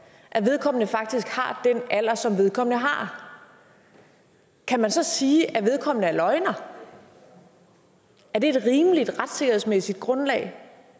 at vedkommende faktisk har den alder som vedkommende har kan man så sige at vedkommende er en løgner er det et rimeligt retssikkerhedsmæssigt grundlag